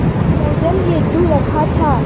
विसर्जन हेतु रखा था